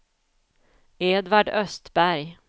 Edvard Östberg